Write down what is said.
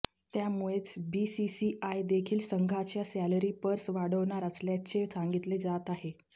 त्यामुळेच बीसीसीआय देखील संघांच्या सॅलरी पर्स वाढवणार असल्याचे सांगितले जात आहे